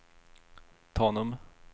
Tanum